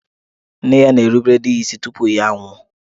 Nne ya na-erubere di ya isi tupu ya a nwụọ.